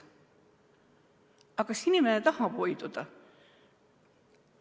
Aga kas inimene tahab hoiduda?